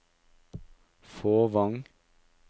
Fåvang